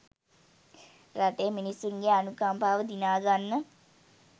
රටේ මිනිස්‌සුන්ගේ අනුකම්පාව දිනාගන්න